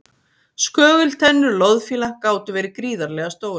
Skögultennur loðfíla gátu verið gríðarlega stórar.